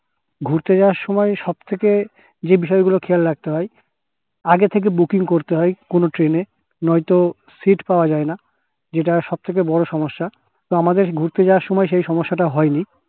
ঘুরতে যাওয়ার সময় সব থেকে যে বিষয় গুলো খেয়াল রাখতে হয় আগে থেকে booking করতে হয় কোনো train এ নয়তো তো সিট্ পাওয়া যাই না যেটা সব থেকে বড়ো সমস্যা তো আমাদের ঘুরতে যাওয়ার সময় সেই সমস্যাটা হয় নি